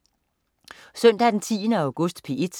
Søndag den 10. august - P1: